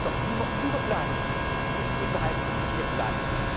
schafft. Spanien ist noch immer über Plan und nicht unterhalb des